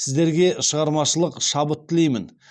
сіздерге шығармашылық шабыт тілеймін